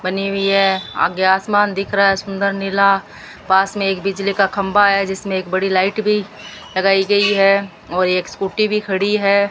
बनी हुई है आगे आसमान दिख रहा है सुंदर नीला पास में एक बिजली का खंभा है जिसमें एक बड़ी लाइट भी लगाई गई है और एक स्कूटी भी खड़ी है।